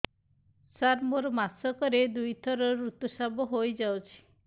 ସାର ମୋର ମାସକରେ ଦୁଇଥର ଋତୁସ୍ରାବ ହୋଇଯାଉଛି